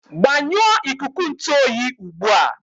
Gbanyụọ ikuku ntụ oyi ugbu a!